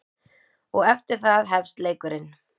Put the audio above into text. Og eftir það hefst leikurinn.